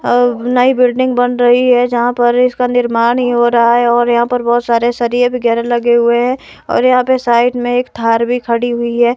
और नई बिल्डिंग बन रही है। जहां पर इसका निर्माण ही हो रहा है और यहां पर बहोत सारे सरिए वगैरा लगे हुए है और यहां पे साइड में एक थार भी खड़ी हुई है।